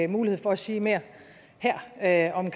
mulighed for at sige mere her her om